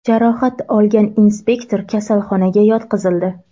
Jarohat olgan inspektor kasalxonaga yotqizildi.